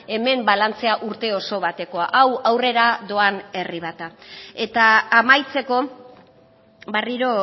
hemen balantzea urte oso batekoa hau aurrera doan herri bat da eta amaitzeko berriro